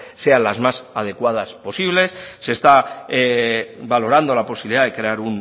sean las más adecuadas posibles se está valorando la posibilidad de crear